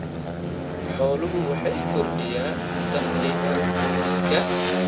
Xooluhu waxay kordhiyaan dakhliga qoyska.